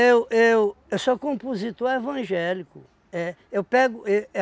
Eu eu eu sou compositor evangélico. É. Eu pego e